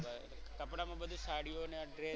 બરોબર કપડામાં બધુ સાડીઓ ને આ ડ્રેસ